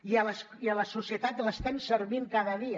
i a la societat l’estem servint cada dia